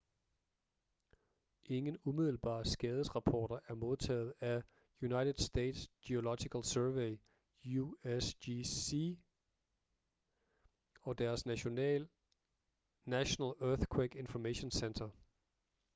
ingen umiddelbare skadesrapporter er modtaget af united states geological survey usgs og deres national earthquake information center